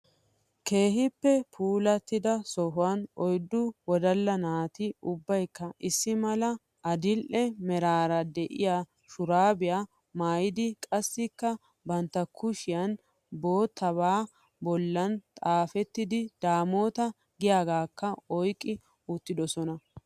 Kehippe puulatiddaa sohuwan oydu wodaalla nati ubbaykka issi maala adidhdhe meraaraa de7iya shurabiya mayiddi qassikka bantta kushiyan boottaba bollan xaafetida damota giyaagakkaa oyqi uuttidosona